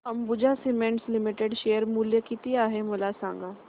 Ambuja cements limited share मूल्य किती आहे मला सांगा